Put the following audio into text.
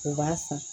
U b'a san